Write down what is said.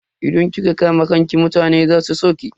Idan kika kama kanki mutane za su so ki.